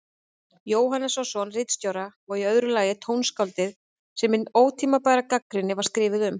Jóhannssonar ritstjóra, og í öðru lagi tónskáldið sem hin ótímabæra gagnrýni var skrifuð um.